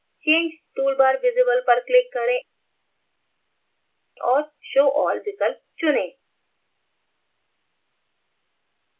change toolbar visibleपर click करें और show all विकल्प चुनें